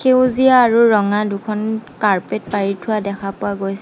সেউজীয়া আৰু ৰঙা দুখন কাৰ্পেট পাৰি থোৱা দেখা পোৱা গৈছ--